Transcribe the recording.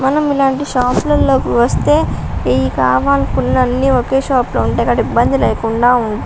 మనం ఇలాంటి షాపు లలోకి వస్తే ఏయి కావాలనుకున్న అన్ని ఒకే షాపు లో ఉంటాయి. కాబట్టి ఇబ్బంది లేకుండా ఉంట --